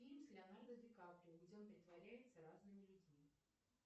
фильм с леонардо ди каприо где он притворяется разными людьми